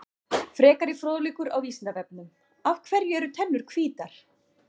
Frekari fróðleikur á Vísindavefnum: Af hverju eru tennur hvítar?